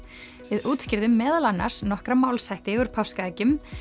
við útskýrðum meðal annars nokkra málshætti úr páskaeggjum